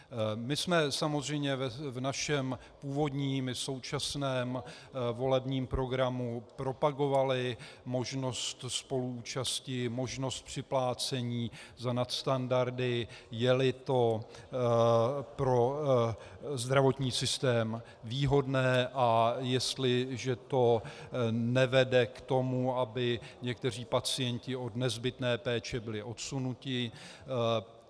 My jsme samozřejmě v našem původním i současném volebním programu propagovali možnost spoluúčasti, možnost připlácení za nadstandardy, je-li to pro zdravotní systém výhodné a jestliže to nevede k tomu, aby někteří pacienti od nezbytné péče byli odsunuti.